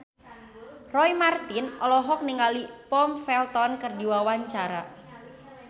Roy Marten olohok ningali Tom Felton keur diwawancara